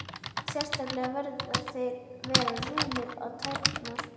Sérstaklega verða þeir að vera rúmir um tærnar.